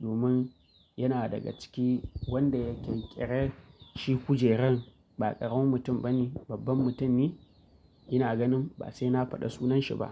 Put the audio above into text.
domin yana daga cikin wanda ya ƙirƙire shi kujerar ba ƙaramin mutum bane babban mutum ne ina ganin ba sai na faɗa sunanshi ba.